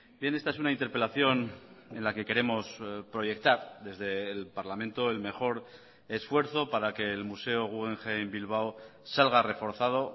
bien esta es una interpelación en la que queremos proyectar desde el parlamento el mejor esfuerzo para que el museo guggenheim bilbao salga reforzado